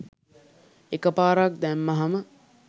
එකපාරක් දැම්මහම